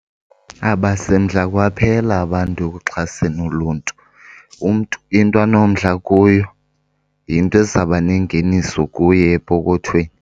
Abasemdla kwaphela abantu ekuxhaseni uluntu, umntu into anomdla kuyo yinto ezawuba nengeniso kuye epokothweni.